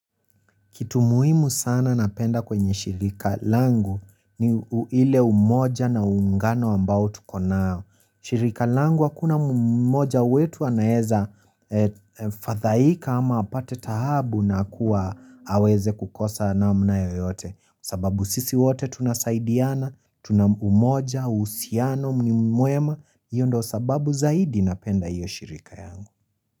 Kitu muhimu sana napenda kwenye shirika langu, ni ile umoja na uungano, ambao tuko nao. Shirika langu hakuna moja wetu anaeza fadhaika ama apate taabu na kuwa aweze kukosa namna yoyote. Sababu sisi wote tunasaidiana, tuna umoja, uhusiano ni mwema. Hiyo ndo sababu zaidi, napenda hiyo shirika yangu.